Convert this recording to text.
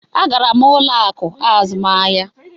Agara m ụlọ akụ azụmahịa.